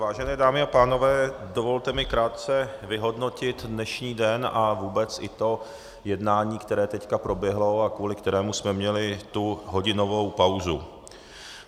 Vážené dámy a pánové, dovolte mi krátce vyhodnotit dnešní den a vůbec i to jednání, které teď proběhlo a kvůli kterému jsme měli tu hodinovou pauzu.